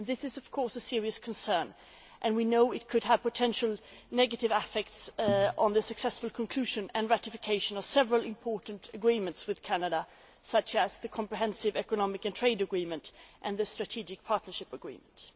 This is of course a serious concern, and we know it could have potential negative effects on the successful conclusion and ratification of several important agreements with Canada, such as the Comprehensive Economic and Trade Agreement and the Strategic Partnership Agreement.